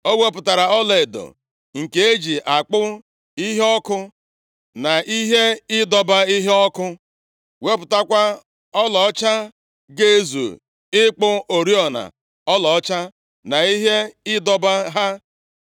Ọ wepụtara ọlaedo nke e ji akpụ iheọkụ na ihe ịdọba iheọkụ. Wepụtakwa ọlaọcha ga-ezu ịkpụ oriọna ọlaọcha, na ihe ịdọba ha.